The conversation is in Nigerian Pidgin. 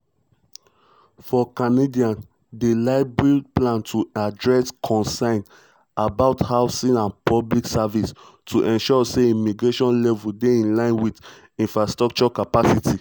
for canadians di liberals plan to address concerns about housing and public services to ensure say immigration levels dey in line wit infrastructure capacity.